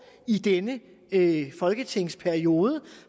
i denne folketingsperiode